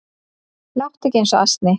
Láttu ekki eins og asni